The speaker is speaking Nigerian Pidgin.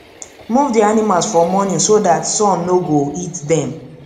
move the animals for morning so dat sun no go hit dem